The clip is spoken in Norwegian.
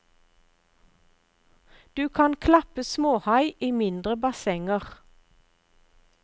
Du kan klappe småhai i mindre bassenger.